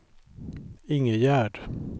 Ingegärd